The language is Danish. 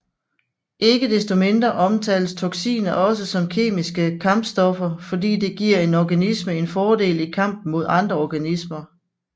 Ikke destomindre omtales toxiner også som kemiske kampstoffer fordi det giver en organisme en fordel i kampen mod andre organismer